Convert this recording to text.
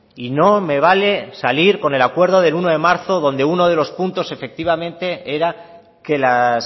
y no me vale salir con el acuerdo del uno de marzo donde uno de los puntos efectivamente era que las